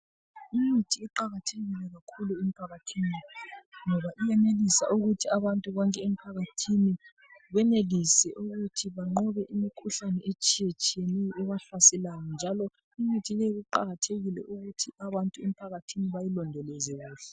Umuthi uqakathekile kakhulu emphakathini ngoba iyenelisa ukuthi abantu bonke emphakathini benelise ukuthi banqobe imikhuhlane etshiya tshiyeneyo ebahlaselayo njalo imithi leyi iqakathekile ukuthi abantu emphakathini bayilondoloze kuhle.